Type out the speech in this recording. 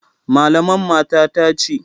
Malaman matata ce.